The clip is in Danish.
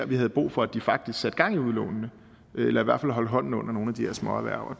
vi havde brug for at de faktisk satte gang i udlånene eller i hvert fald holdt hånden under nogle af de her småerhverv